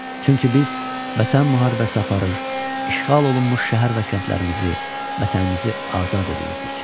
Çünki biz Vətən müharibəsi aparır, işğal olunmuş şəhər və kəndlərimizi, Vətənimizi azad eləyirdik.